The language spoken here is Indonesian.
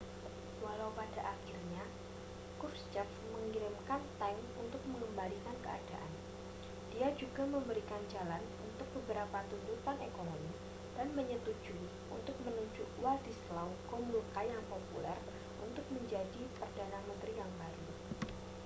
walau pada akhirnya krushchev mengirimkan tank untuk mengembalikan keadaan dia juga memberikan jalan untuk beberapa tuntutan ekonomi dan menyetujui untuk menunjuk wladyslaw gomulka yang populer untuk menjadi perdana menteri yang baru